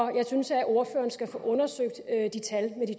jeg synes at ordføreren skal få undersøgt tallet